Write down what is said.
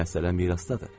Məsələ mirasdadır.